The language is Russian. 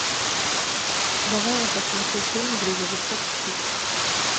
давай я посмотрю фильм грузовичок пик